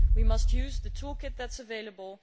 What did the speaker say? We must use the toolkit that is available.